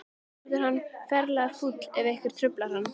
Svo verður hann ferlega fúll ef einhver truflar hann.